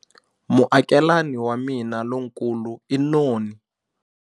Muakelani wa mina lonkulu i noni.